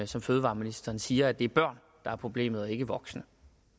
som fødevareministeren siger altså at det er børn der er problemet og ikke voksne